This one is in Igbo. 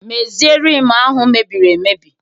Mezie Rim ahụ mebiri emebi!